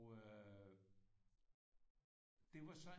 Øh det var så